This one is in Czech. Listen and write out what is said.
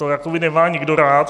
To jakoby nemá nikdo rád.